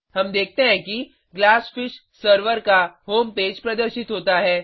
हम देखते हैं कि ग्लासफिश सर्वर का होम पेज प्रदर्शित होता है